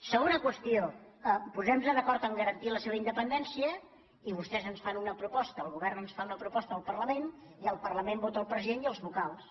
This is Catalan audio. segona qüestió posem·nos d’acord a garantir la seva independència i vostès ens fa una proposta el govern ens fa una proposta al parlament i el parlament vota el president i els vocals